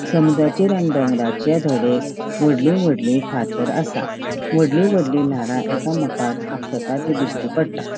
समुद्राचेर आणि डोंगराचेर थोड़े वोडली वोडली फातर असा वोडली वोडली लाटा एकमेकाक आपटा ते दिश्टी पट्टा.